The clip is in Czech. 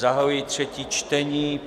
Zahajuji třetí čtení.